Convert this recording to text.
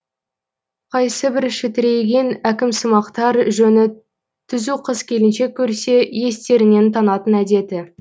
қайсыбір шітірейген әкімсымақтар жөні түзу қыз келіншек көрсе естерінен танатын әдеті